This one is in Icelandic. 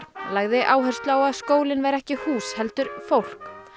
lagði áherslu á að skóli væri ekki hús heldur fólk